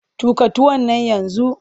Tuƙa tuwon nan yanzu!